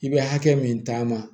I bɛ hakɛ min ta ma